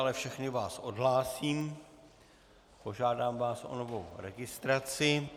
Ale všechny vás odhlásím, požádám vás o novou registraci.